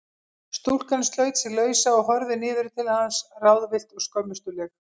Stúlkan sleit sig lausa og horfði niður til hans ráðvillt og skömmustuleg.